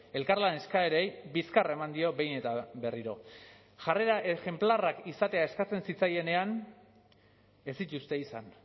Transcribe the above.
elkarlan eskaerei bizkarra eman dio behin eta berriro jarrera ejenplarrak izatea eskatzen zitzaienean ez dituzte izan